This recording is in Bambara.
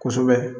Kosɛbɛ